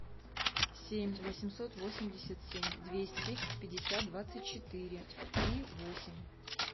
семь восемьсот восемьдесят семь двести пятьдесят двадцать четыре три восемь